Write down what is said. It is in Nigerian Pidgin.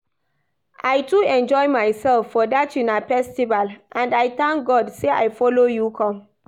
I too enjoy myself for dat una festival and I thank God say I follow you come